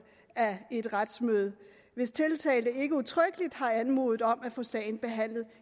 af et retsmøde hvis tiltalte ikke udtrykkeligt har anmodet om at få sagen behandlet